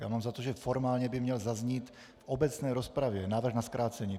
Já mám za to, že formálně by měl zaznít v obecné rozpravě návrh na zkrácení.